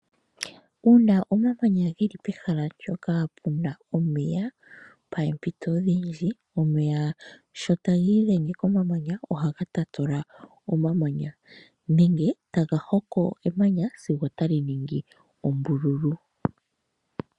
Uuna omamanya geli pehala ndyoka puna omeya poompito odhindji omeya sho taga idhenge komamanya ohaga tatula omamanya nenge taga hoko emanya sigo otali ningi ombululu.